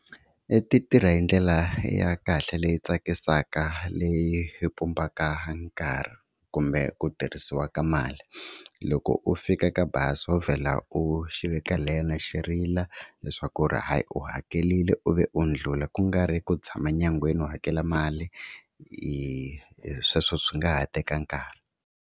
Ti tirha hi ndlela ya kahle leyi tsakisaka leyi yi pumbaka nkarhi kumbe ku tirhisiwa ka mali. Loko u fika ka bazi wo vhela u xi vekelela xi rila leswaku hayi u hakerile u vi u ndlhula ku nga ri ku tshama nyangweni u hakela mali sweswo swi nga ha teka nkarhi.